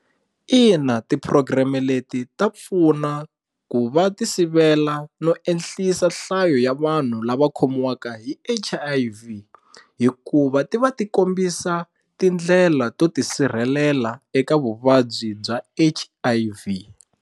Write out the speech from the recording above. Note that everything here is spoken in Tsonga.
Ina tipurogireme leti ta pfuna ku va ti sivela no ehlisa nhlayo ya vanhu lava khomiwanga hi H_I_V hikuva ti va ti kombisa tindlela to tisirhelela eka vuvabyi bya H_I_V.